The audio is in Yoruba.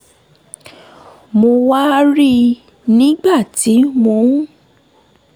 mo wá rí i nígbà tí mò ń